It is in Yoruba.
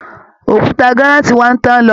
Òkúta granite wa ń tán lọ